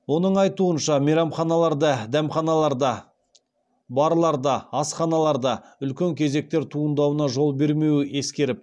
оның айтуынша мейрамханаларда дәмханаларда барларда асханаларда үлкен кезектер туындауына жол бермеуді ескеріп